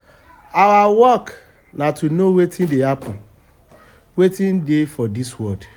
our work na to know wetin dey happen wetin dey happen for dis world